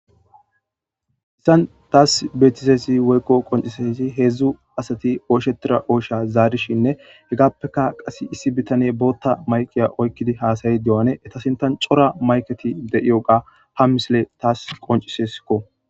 Issan taas beetisesi woykko qoncisesi heedzdzu asati ooshetira oosha zaarishinne hegappeka qas issi bitane bootta mayqiya oykkidi haasayi de'ane eta sintan cora mayketi de'iyo ga ha misile taas qoncisesikko.